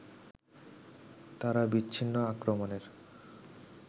তারা বিচ্ছিন্ন আক্রমণের